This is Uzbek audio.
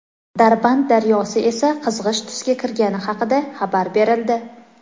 Darband daryosi esa qizg‘ish tusga kirgani haqida xabar berildi.